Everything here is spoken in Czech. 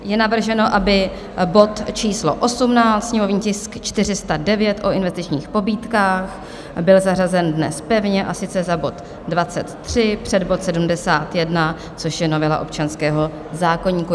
Je navrženo, aby bod číslo 18, sněmovní tisk 409, o investičních pobídkách, byl zařazen dnes pevně, a sice za bod 23 před bod 71, což je novela občanského zákoníku.